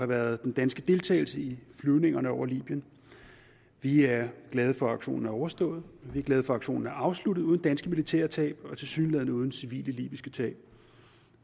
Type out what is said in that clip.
været den danske deltagelse i flyvningerne over libyen vi er glade for at aktionen er overstået og vi er glade for at aktionen er afsluttet uden danske militære tab og tilsyneladende uden civile libyske tab